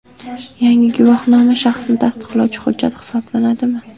Yangi guvohnoma shaxsni tasdiqlovchi hujjat hisoblanadimi?